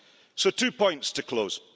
So, two points to close.